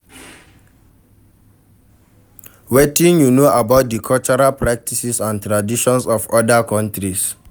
Wetin you know about di cultural practices and traditions of oda countries?